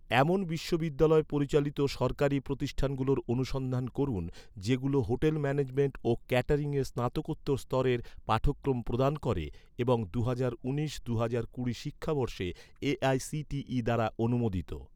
এমন বিশ্ববিদ্যালয় পরিচালিত সরকারি প্রতিষ্ঠানগুলোর অনুসন্ধান করুন, যেগুলো হোটেল ম্যানেজমেন্ট ও ক্যাটারিংয়ে স্নাতকোত্তর স্তরের পাঠক্রম প্রদান করে এবং দুহাজার উনিশ দুহাজার কুড়ি শিক্ষাবর্ষে এ.আই.সি.টি.ই দ্বারা অনুমোদিত